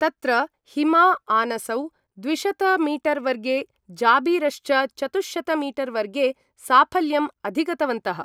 तत्र हिमा-आनसौ द्विशत-मीटर-वर्गे, जाबिरश्च चतुश्शत-मीटर-वर्गे साफल्यम् अधिगन्तवन्तः।